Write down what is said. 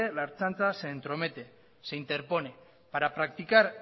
la ertzaintza se entromete se interpone para practicar